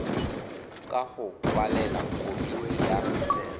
ka go kwalela komiti ya